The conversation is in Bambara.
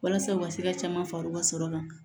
Walasa u ka se ka caman fara u ka sɔrɔ kan